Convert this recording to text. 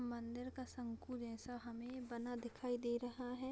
मंदिर का शंकुर ऐसा हमे बना दिखाई दे रहा है।